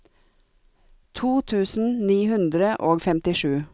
to tusen ni hundre og femtisju